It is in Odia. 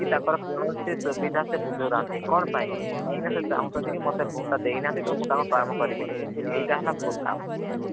କି ତାଙ୍କର କୌଣସି ସୁବିଧା ସେ ବୁଝୁ ନାହାନ୍ତି କଣ ପାଇଁ କାହିଁକି ନା ସେ ଚାହୁଁଛନ୍ତି କି ମତେ vote ଟା ଦେଇ ନାହାନ୍ତି ତ ମୁଁ ତାଙ୍କ କାମ କରିବିନି କିନ୍ତୁ ଏଇଟା ହେଲା ଭୁଲ୍ କାମ।